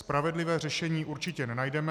Spravedlivé řešení určitě nenajdeme.